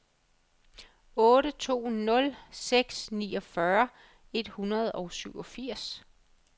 otte to nul seks niogfyrre et hundrede og syvogfirs